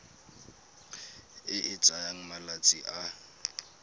e e tsayang malatsi a